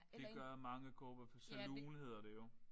Det gør mange cowboy for saloon hedder det jo